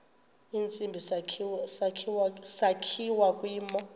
tsibizi sakhiwa kwimo